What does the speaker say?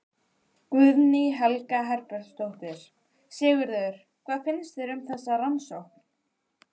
Guðný Helga Herbertsdóttir: Sigurður, hvað finnst þér um þessa rannsókn?